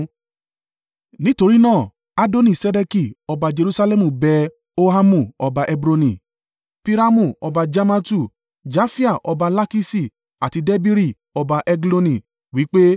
Nítorí náà Adoni-Sedeki ọba Jerusalẹmu bẹ Hohamu ọba Hebroni, Piramu ọba Jarmatu, Jafia ọba Lakiṣi àti Debiri ọba Egloni. Wí pe,